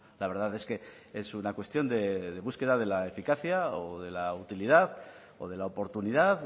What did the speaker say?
la verdad es que es una cuestión de búsqueda de la eficacia o de la utilidad o de la oportunidad